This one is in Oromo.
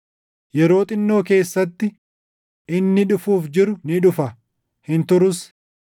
“Yeroo xinnoo keessatti, inni dhufuuf jiru ni dhufa; hin turus.” + 10:37 \+xt Isa 26:20; Anb 2:3\+xt*